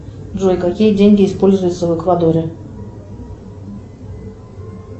джой какие деньги используются в эквадоре